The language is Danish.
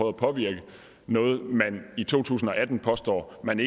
at påvirke noget man i to tusind og atten påstår man